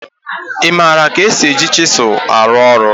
ị maara ka esi eji chisel arụ ọrụ?